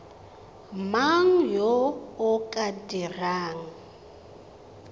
mang yo o ka dirang